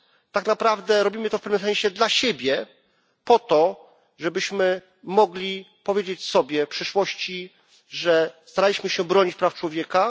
Tak naprawdę robimy to w pewnym sensie dla siebie po to, żebyśmy mogli powiedzieć sobie w przyszłości, że staraliśmy się bronić praw człowieka.